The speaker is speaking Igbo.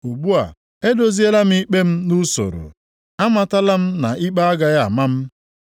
Ugbu a, edoziela m ikpe m nʼusoro, amatala m na ikpe agaghị ama m.